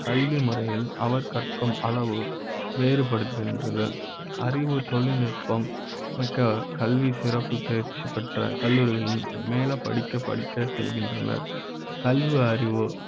கல்விமுறை யில் அவர் கற்க அளவு வேறுபடுகின்றது அறிவு, தொழில்நுட்ப ம் கல்வி சிறப்புத் தேர்ச்சி பெற்ற கல்லூரிகளில் மேல படிக்க படிக்க செல்கின்றன